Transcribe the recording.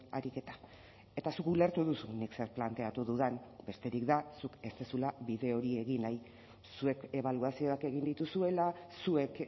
ariketa eta zuk ulertu duzu nik zer planteatu dudan besterik da zuk ez duzula bide hori egin nahi zuek ebaluazioak egin dituzuela zuek